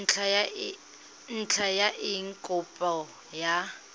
ntlha ya eng kopo ya